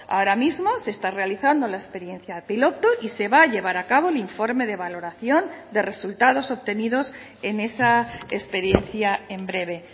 ahora mismo se está realizando la experiencia piloto y se va a llevar a cabo el informe de valoración de resultados obtenidos en esa experiencia en breve